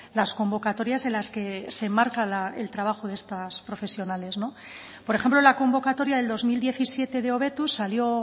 las convocatorias en las que se marca el trabajo de estas profesionales por ejemplo la convocatoria del dos mil diecisiete de hobetuz salió